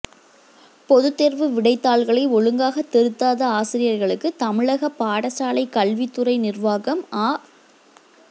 பொதுத்தேர்வு விடைத்தாள்களை ஒழுங்காக திருத்ததாத ஆசிரியர்களுக்கு தமிழக பாடசாலை கல்வித்துறை நிர்வாகம் அ